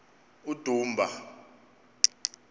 udumba